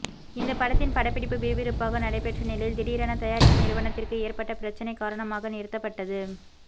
இந்த படத்தின் படப்பிடிப்பு விறுவிறுப்பாக நடைபெற்ற நிலையில் திடீரென தயாரிப்பு நிறுவனத்திற்கு ஏற்பட்ட பிரச்சனை காரணமாக நிறுத்தப்பட்டது